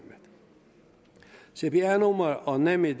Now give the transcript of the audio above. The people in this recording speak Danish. cpr nummer og nemid